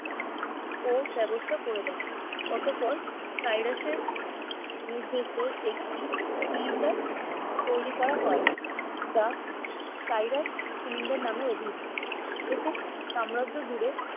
ও ব্যবস্থা করে যান অতঃপর সাইরাসের নির্দেশে একটি সিলিন্ডার তৈরি করা হয় যা সাইরাস সিলিন্ডার নামে অভিহিত এতে সাম্রাজ্য জুড়ে